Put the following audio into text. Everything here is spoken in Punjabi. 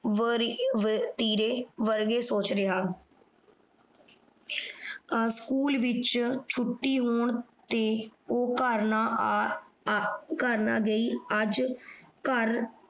ਵਰੀ ਆਹ ਵਤੀਰੇ ਵਰਗੇ ਸੋਚ ਰਿਹਾ। ਆਹ ਸਕੂਲ ਵਿਚ ਛੁੱਟੀ ਹੋਣ ਤੇ ਉਹ ਘਰ ਨਾ ਆ ਆ ਘਰ ਨਾ ਗਈ ਅੱਜ ਘਰ